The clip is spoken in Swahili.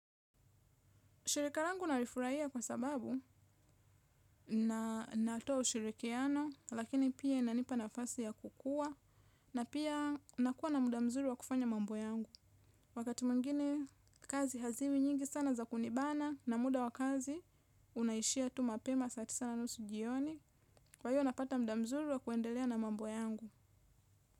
Shirikarangu narifuraia kwa sababu na natoa ushirikiano lakini pia inanipa na fasi ya kukua na pia nakuwa na muda mzuri wa kufanya mambo yangu. Wakati mwingine kazi haziwi nyingi sana za kunibana na muda wakazi unaishia tu mapema saa tisa na nusu jioni. Kwa hiyo napata muda mzuri wa kuendelea na mambo yangu.